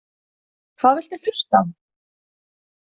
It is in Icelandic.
Hvað viltu hlusta á?